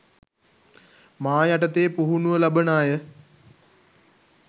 මා යටතේ පුහුණුව ලබන අය